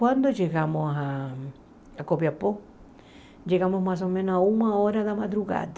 Quando chegamos a a Copiapó, chegamos mais ou menos a uma hora da madrugada.